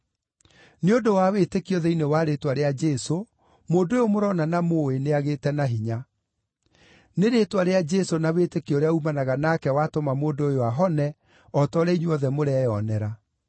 Nĩ ũndũ wa wĩtĩkio thĩinĩ wa rĩĩtwa rĩa Jesũ, mũndũ ũyũ mũrona na mũũĩ, nĩagĩĩte na hinya. Nĩ rĩĩtwa rĩa Jesũ na wĩtĩkio ũrĩa uumanaga nake watũma mũndũ ũyũ ahone o ta ũrĩa inyuothe mũreyonera.